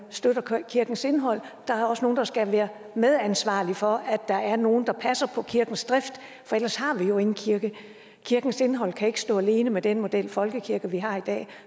støtte kirkens indhold der er også nogle der skal være medansvarlige for at der er nogle der passer på kirkens drift for ellers har vi jo ingen kirke kirkens indhold kan ikke stå alene med den model for folkekirken vi har i dag